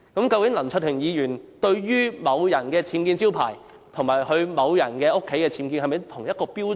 究竟林卓廷議員對於某人的僭建招牌及另一人居所的僭建，用的是否同一標準？